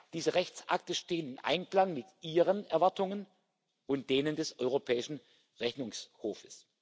Diese Rechtsakte stehen im Einklang mit Ihren Erwartungen und denen des Europäischen Rechnungshofs.